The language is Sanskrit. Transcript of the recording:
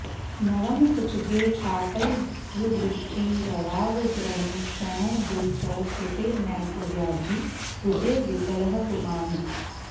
नवम सुतगे पापैर्दृष्टे रवावदृढेक्षणो दिन कर सुते नैक व्याधिः कुजे विकलः पुमान्